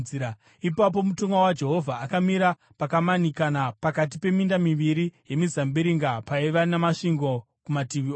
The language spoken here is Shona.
Ipapo mutumwa waJehovha akamira pakamanikana pakati peminda miviri yemizambiringa, paiva namasvingo kumativi ose.